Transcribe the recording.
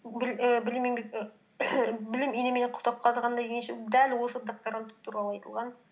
білім инемен құдық қазғандай дегенше дәл осы докторант туралы айтылған